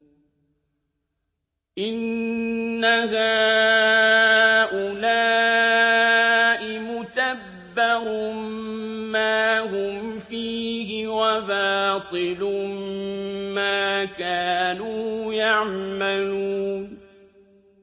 إِنَّ هَٰؤُلَاءِ مُتَبَّرٌ مَّا هُمْ فِيهِ وَبَاطِلٌ مَّا كَانُوا يَعْمَلُونَ